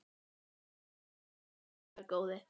Hlustaðu ekki á hann, blessaður góði.